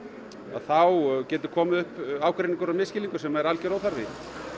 þá getur komið upp ágreiningur og misskilningur sem að er algjör óþarfi